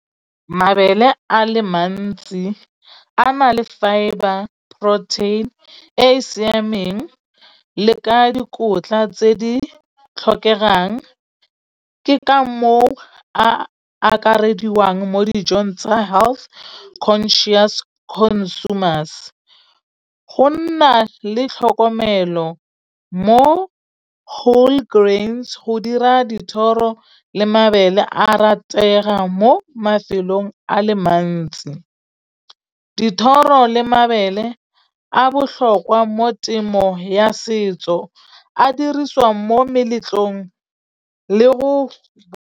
Mabele a le mantsi a na le fibre protein e e siameng le ka dikotla tse di tlhokegang. Ke ka moo a akarediwang mo dijong tsa health conscious consumers. Go nna le tlhokomelo mo whole grains go dira dithoro le mabele a ratega mo mafelong a le mantsi. Dithoro le mabele a botlhokwa mo temo ya setso a dirisiwang mo meletlong le go.